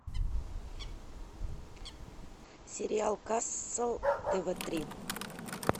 сериал касл тв три